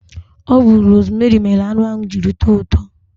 Ọ bu rosmeri mere anụ ahụ jiri tọọ ụtọ